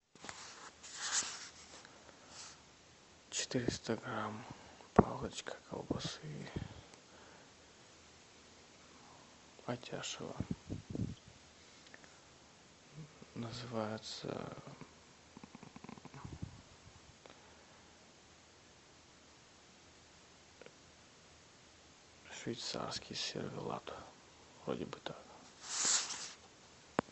четыреста грамм палочка колбасы атяшево называется швейцарский сервелат вроде бы так